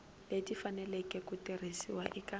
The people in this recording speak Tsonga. leti faneleke ku tirhisiwa eka